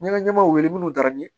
Ɲɛgɛnɲɛgɛnw wele minnu dira n ye